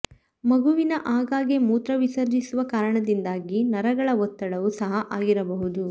ಮಗುವಿನ ಆಗಾಗ್ಗೆ ಮೂತ್ರ ವಿಸರ್ಜಿಸುವ ಕಾರಣದಿಂದಾಗಿ ನರಗಳ ಒತ್ತಡವೂ ಸಹ ಆಗಿರಬಹುದು